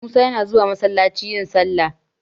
Musa yana zuwa masallaci yin sallah.